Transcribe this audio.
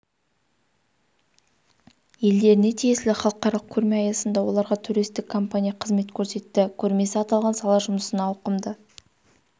елдеріне тиесілі халықаралық көрме аясында оларға туристік компания қызмет көрсетті көрмесі аталған сала жұмысына ауқымды